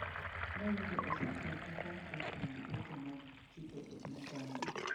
Noyudo osetiyo kaka jatend weche mag chike e piny Gambia.